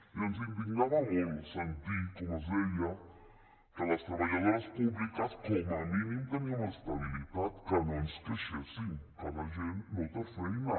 i ens indignava molt sentir com es deia que les treballadores públiques com a mínim teníem estabilitat que no ens queixéssim que la gent no té feina